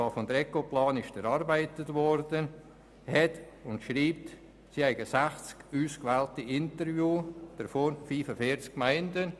Ecoplan hat für den Bericht 60 Interviews geführt, 40 mit Gemeindevertretungen.